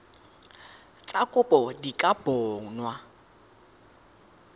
tsa kopo di ka bonwa